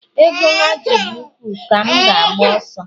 ego ha ji dị ukwuu ka m ga-agba ọsọ